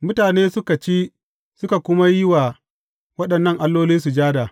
Mutane suka ci suka kuma yi wa waɗannan alloli sujada.